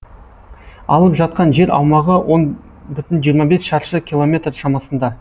алып жатқан жер аумағы он бүтін жүзден жиырма бес шаршы километр шамасында